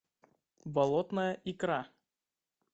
болотная икра